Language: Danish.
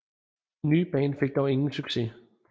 Det nye band fik dog ingen succes